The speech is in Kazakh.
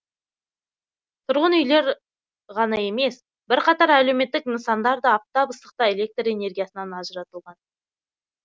тұрғын үйлер ғана емес бірқатар әлеуметтік нысандар да аптап ыстықта электр энергиясынан ажыратылған